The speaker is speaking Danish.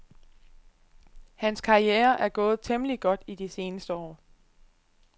Hans karriere er gået temmeligt godt i de seneste år.